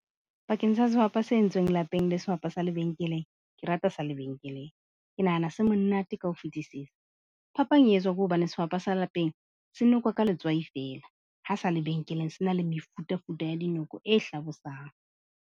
Bakeng sa sehwapa se entsweng lapeng le sehwapa sa lebenkeleng. Ke rata sa lebenkeleng, ke nahana se monate ka ho fetisisa phapang e etswa ke hobane sehwapa sa lapeng se nokwa ka letswai fela, ha sa lebenkeleng se na le mefuta-futa ya dinoko e hlabosang.